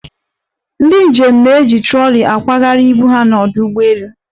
Ndị njem na-eji troli akwagharị ibu ha n'ọdụ ụgbọelu.